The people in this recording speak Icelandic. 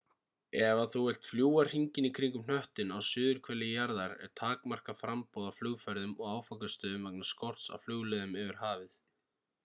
ef þú vilt fljúga hringinn í kringum hnöttinn á suðurhveli jarðar er takmarkað framboð á flugferðum og áfangastöðum vegna skorts á flugleiðum yfir hafið